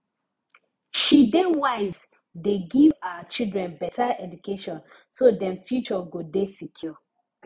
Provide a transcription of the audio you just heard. she dey wise dey give her children beta education so dem future go dey secure